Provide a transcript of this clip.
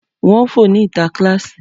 Wọ́n ń fò ní ìta kíláàsì.